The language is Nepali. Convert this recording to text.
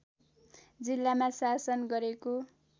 जिल्लामा शासन गरेको